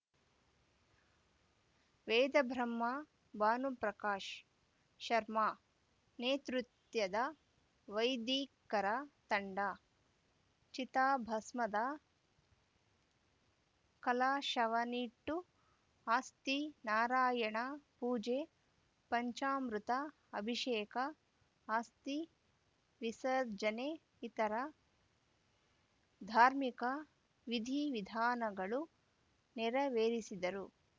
ವೇದಬ್ರಹ್ಮ ಭಾನುಪ್ರಕಾಶ್‌ ಶರ್ಮಾ ನೇತೃತ್ಯದ ವೈದಿಕರ ತಂಡ ಚಿತಾಭಸ್ಮದ ಕಲಾಶವನ್ನಿಟ್ಟು ಅಸ್ಥಿ ನಾರಾಯಣ ಪೂಜೆ ಪಂಚಾಮೃತ ಅಭಿಷೇಕ ಅಸ್ಥಿ ವಿಸರ್ಜನೆ ಇತರ ಧಾರ್ಮಿಕ ವಿಧಿವಿಧಾನಗಳು ನೆರವೇರಿಸಿದರು ಕಳಶವವನ್ನು